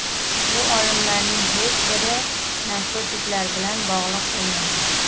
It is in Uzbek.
Bu o‘limlarning hech biri narkotiklar bilan bog‘liq bo‘lmagan.